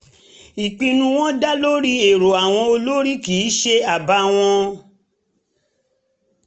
ìpinnu wọn dá lórí erò àwọn olórí kì í ṣe àbá wa